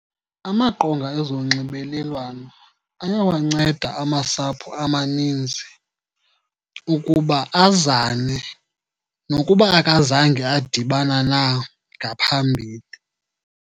Amaqonga ezonxibelelwano ayawanceda amasapho amaninzi ukuba azane nokuba akazange adibana na ngaphambili.